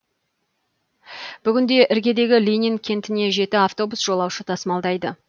бүгінде іргедегі ленин кентіне жеті автобус жолаушы тасымалдайды